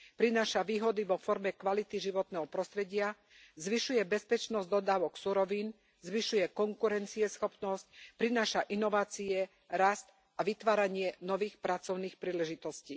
Prináša výhody vo forme kvality životného prostredia, zvyšuje bezpečnosť dodávok surovín, zvyšuje konkurencieschopnosť, prináša inovácie, rast a vytváranie nových pracovných príležitostí.